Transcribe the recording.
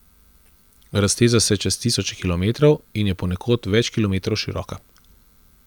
Razteza se čez tisoče kilometrov in je ponekod več kilometrov široka.